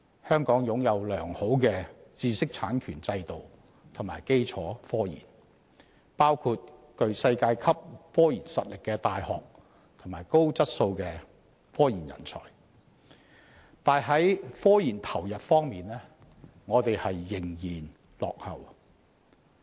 香港擁有良好的知識產權制度及科研基礎，包括具世界級科研實力的大學及高質素的科研人才，但本港在科研投入方面仍然落後。